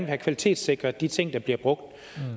have kvalitetssikret de ting der bliver brugt